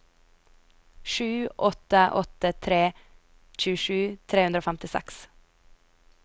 sju åtte åtte tre tjuesju tre hundre og femtiseks